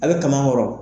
A bɛ kaman kɔrɔ